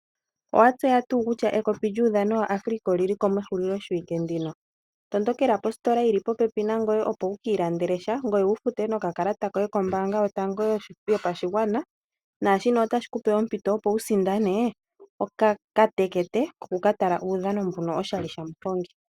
Owa tseya tuu kutya ekopi lyuudhano waAfrica oli liko mehuliloshiwike ndino? Tondokela positola yili popepi nangoye opo wu kiilandelesha ngoye wu fute nokakalata koye kombanga yotango yopashigwana nashino ota shi kupe ompito opo wu sindane okatekete koku ka tala uudhano mbuno oshali shamuhongi.